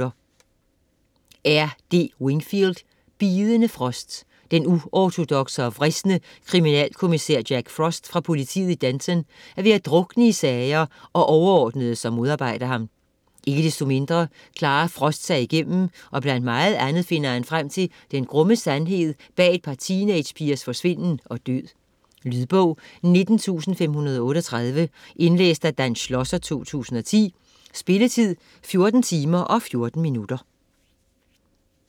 Wingfield, R. D.: Bidende frost Den uortodokse og vrisne kriminalkommissær Jack Frost fra politiet i Denton er ved at drukne i sager og overordnede, som modarbejder ham. Ikke desto mindre klarer Frost sig igennem, og blandt meget andet finder han frem til den grumme sandhed bag et par teenagepigers forsvinden og død. Lydbog 19538 Indlæst af Dan Schlosser, 2010. Spilletid: 14 timer, 14 minutter.